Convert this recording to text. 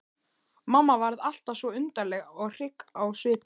Mamma varð alltaf svo undarleg og hrygg á svipinn.